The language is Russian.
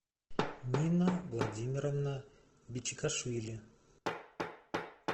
нина владимировна бичикашвили